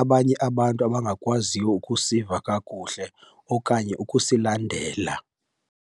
abanye abantu abangakwaziyo ukusiva kakuhle okanye ukusilandela.